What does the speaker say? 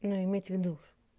ну иметь в виду